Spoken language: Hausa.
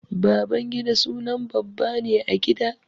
Babangida sunan babba ne a gida.